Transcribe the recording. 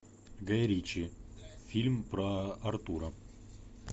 гай ричи фильм про артура